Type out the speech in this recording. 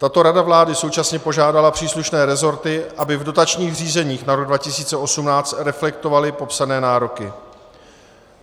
Tato rada vlády současně požádala příslušné resorty, aby v dotačních řízeních na rok 2018 reflektovaly popsané nároky.